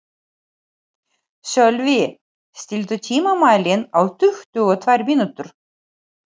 Sölvi, stilltu tímamælinn á tuttugu og tvær mínútur.